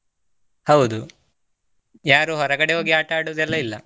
ಹೌದು ಯಾರು ಹೊರಗಡೆ ಹೋಗಿ ಆಟಾಡುದು ಎಲ್ಲಾ ಇಲ್ಲಾ.